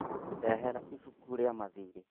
Ndehera ibuku rĩa mathiirĩ